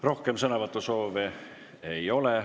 Rohkem sõnavõtusoove ei ole.